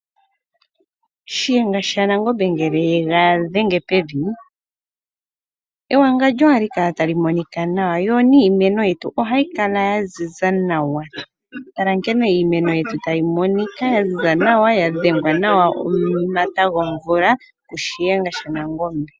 Shiyenga shaNangombe ngele yega dhenge pevi ewangondjo ohali kala tali monika nawa yoniimeno yetu ohayikala yaziza nawa. Tala nkene iimeno yetu tayi monika yaziza nawa ya dhengwa nawa omata gomvula ku Shiyenga shaNangombe.